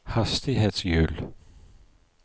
hastighetshjul